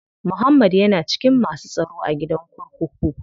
Muhammad ya na cikin masu tsaro a gidan kurkuku.